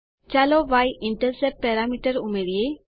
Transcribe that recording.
ચાલો y intercept parameter ઉમેરિયે